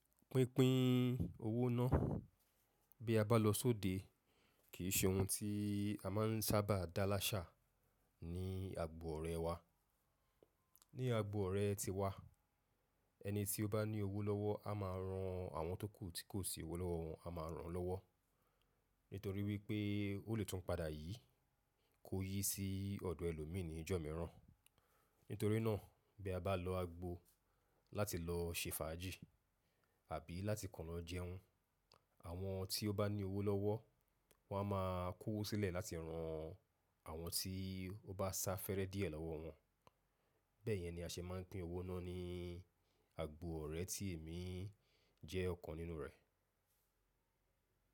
Pínpín owó náà bí a bá lọ sóde kì í ṣe ohun tí a máa n sábà dá láṣà ní agbo ọ̀rẹ́ wa, ni agbo ọ̀rẹ́ ti wa. Ẹni tí ó bá ní owó lọ́wọ́ a máa ran àwọn tókù tí kò sí owó lọ́wọ́ wọn a máa ràn án lọ́wọ́. Nítorí wípé ó lè tún padà yìí kó yí sí ọ̀dọ̀ ẹlòmíì ní ìjọ mìíràn. Nítorí náà bí a bá lọ agbo láti lọ ṣe fàájì àbí láti kọ́ lọ jẹun, àwọn tí ó bá ni owó lọ́wọ́ wọn a máa kó wọ sílẹ̀ láti ran àwọn tí ó bá sá fẹ́rẹ́ díẹ̀ lọ́wọ́ wọn. Bẹ́ẹ̀ yẹn ni a ṣe máa n pín owó náà ní agbo ọ̀rẹ́ tí èmi jẹ́ ọ̀kan nínú rẹ̀.